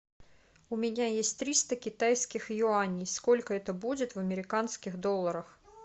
у меня есть триста китайских юаней сколько это будет в американских долларах